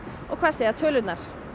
og hvað segja tölur